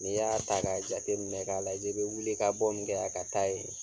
N'i y'a ta ka jateminɛ k'a lajɛ, i bɛ wili ka bɔ min kɛ yan, ka taa yen